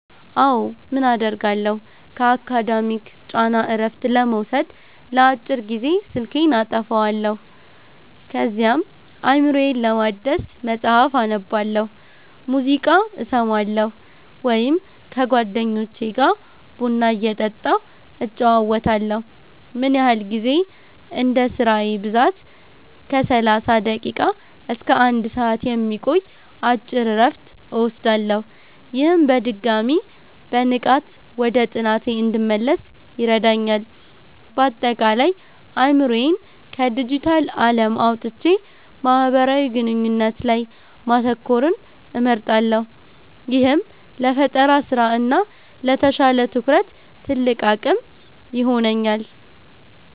አዎ, ምን አደርጋለሁ? ከአካዳሚክ ጫና እረፍት ለመውሰድ ለአጭር ጊዜ ስልኬን አጠፋለሁ። ከዚያም አእምሮዬን ለማደስ መጽሐፍ አነባለሁ፣ ሙዚቃ እሰማለሁ ወይም ከጓደኞቼ ጋር ቡና እየጠጣሁ እጨዋወታለሁ። ምን ያህል ጊዜ? እንደ ስራዬ ብዛት ከ30 ደቂቃ እስከ 1 ሰዓት የሚቆይ አጭር እረፍት እወስዳለሁ። ይህም በድጋሚ በንቃት ወደ ጥናቴ እንድመለስ ይረዳኛል። ባጠቃላይ፦ አእምሮዬን ከዲጂታል ዓለም አውጥቼ ማህበራዊ ግንኙነት ላይ ማተኮርን እመርጣለሁ፤ ይህም ለፈጠራ ስራ እና ለተሻለ ትኩረት ትልቅ አቅም ይሆነኛል።